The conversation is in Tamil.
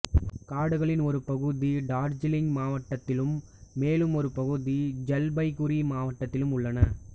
காடுகளின் ஒரு பகுதி டார்ஜிலிங் மாவட்டத்திலும் மேலும் ஒரு பகுதி ஜல்பைகுரி மாவட்டத்திலும் உள்ளன